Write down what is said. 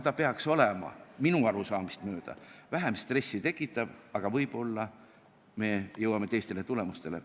Ta peaks olema, minu arusaamist mööda, vähem stressi tekitav, aga võib-olla me jõuame teistele tulemustele.